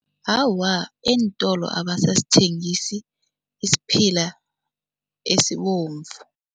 Awa, eentolo abasasithengisi isiphila esibomvu.